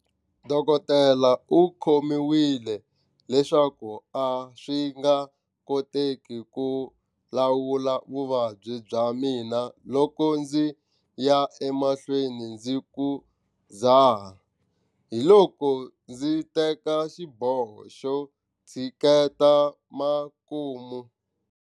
Dokodela u khomiwile leswaku a swi nga koteki ku lawula vuvabyi bya mina loko ndzi ya emahlweni ndzi ku dzaha. Hiloko ndzi teka xiboho xo tshiketa makumu.